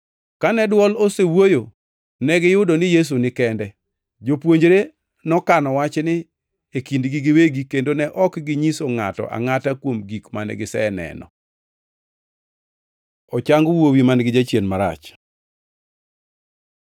Kane dwol osewuoyo, negiyudo ni Yesu ni kende. Jopuonjre nokano wachni e kindgi giwegi kendo ne ok ginyiso ngʼato angʼata kuom gik mane giseneno. Ochang wuowi man-gi jachien marach